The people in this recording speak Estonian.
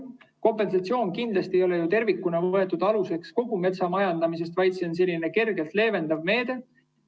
Kompensatsioon kindlasti ei ole ju võetud aluseks tervikuna kogu metsamajandamise mõttes, vaid see on selline kergelt leevendav meede.